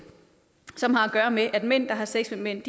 som har at gøre med at mænd der har sex med mænd